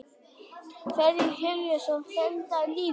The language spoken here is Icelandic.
Ferðir Herjólfs felldar niður